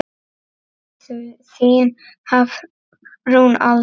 Þín Hafrún Alda.